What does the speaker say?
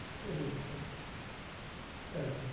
savings টা দরকার